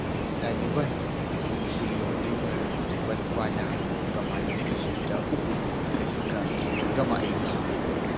Ɗaliban sun shirya walimar ban kwana ga malamansu guda uku da suka gama aiki.